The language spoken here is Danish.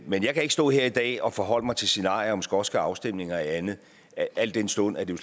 men jeg kan ikke stå her i dag og forholde mig til scenarier om en skotsk afstemning og andet al den stund at det